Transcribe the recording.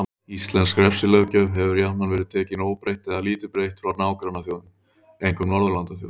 Íslensk refsilöggjöf hefur jafnan verið tekin óbreytt eða lítið breytt frá nágrannaþjóðum, einkum Norðurlandaþjóðum.